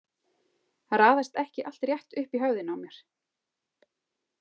Það raðast ekki allt rétt upp í höfðinu á mér.